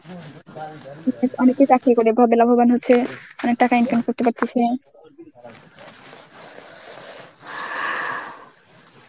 অনেকেই চাকরি করে লাভবান হচ্ছে. অনেক টাকা income করতে পারতেছে.